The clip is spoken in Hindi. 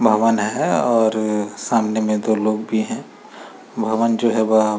भवन है और सामने में दो लोग भी हैं। भवन जो है वह --